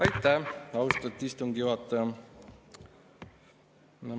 Aitäh, austatud istungi juhataja!